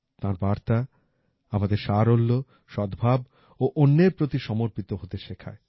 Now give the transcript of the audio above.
তাঁর বার্তা আমাদের সারল্য সদ্ভাব ও অন্যের প্রতি সমর্পিত হতে শেখায়